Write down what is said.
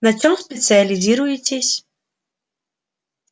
на чём специализируетесь